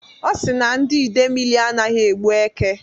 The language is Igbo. Ọ si na ndị Idemili anaghị egbu èkè.